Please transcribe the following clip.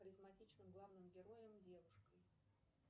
харизматичным главным героем девушкой